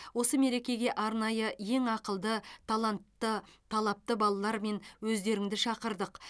осы мерекеге арнайы ең ақылды талантты талапты балалар мен өздеріңді шақырдық